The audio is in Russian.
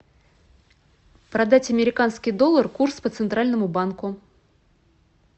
продать американский доллар курс по центральному банку